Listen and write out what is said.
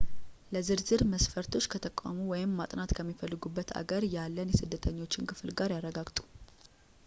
ለዝርዝር መስፈርቶች ከተቋሙ ወይም ማጥናት ከሚፈልጉበት አገር ያለን የስደተኞች ክፍል ጋር ያረጋግጡ